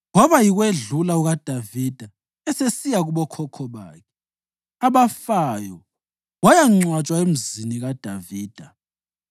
Kwaba yikwedlula kukaDavida esesiya kubokhokho bakhe abafayo wayangcwatshwa eMzini kaDavida.